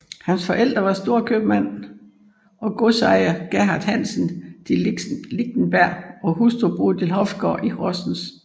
Hans forældre var storkøbmand og godsejer Gerhard Hansen de Lichtenberg og hustru Bodil Hofgaard i Horsens